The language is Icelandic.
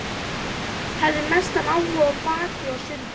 Hafði mestan áhuga á blaki og sundi.